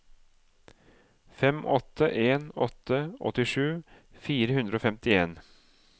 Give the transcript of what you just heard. fem åtte en åtte åttisju fire hundre og femtien